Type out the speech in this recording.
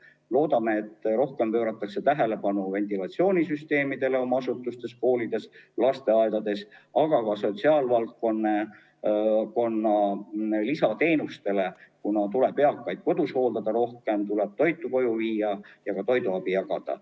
Loodame, et rohkem pööratakse tähelepanu ventilatsioonisüsteemidele oma asutustes, koolides ja lasteaedades, aga ka sotsiaalvaldkonna lisateenustele, kuna tuleb näiteks eakaid kodus hooldada, rohkem toitu koju viia ja ka toiduabi jagada.